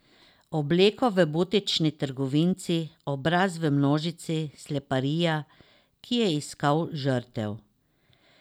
Obleko v butični trgovinici, obraz v množici, sleparja, ki je iskal žrtev.